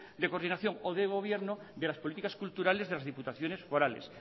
de coordinación o de gobierno de las políticas culturales de las diputaciones forales